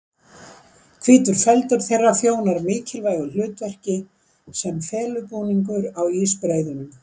Hvítur feldur þeirra þjónar mikilvægu hlutverki sem felubúningur á ísbreiðunum.